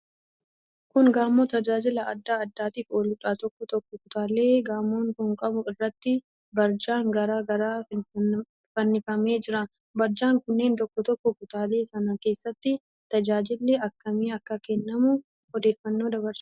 Kun gamoo tajaajila adda addaatiif ooluudha. Tokkoo tokkoo kutaalee gamoon kun qabuu irratti barjaan garaa garaa fannifamee jira. Barjaan kunneen tokkoo tokkoo kutaalee sanaa keessatti tajaajilli akkamii akka kennamu odeeffannoo dabarsu.